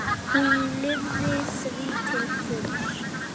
Hún lifði því til fulls.